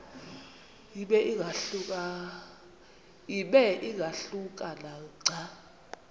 ibe ingahluka nanga